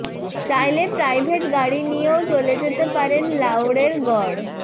চাইলে প্রাইভেট গাড়ি নিয়েও চলে যেতে পারেন লাউড়ের গড়